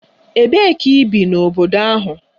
Ebee ka ị bi n'obodo ahụ?